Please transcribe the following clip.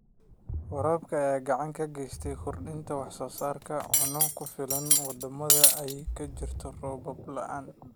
Waraabka ayaa gacan ka geysta kordhinta wax soo saarka cunno ku filan wadamada ay ka jirto roob la'aanta.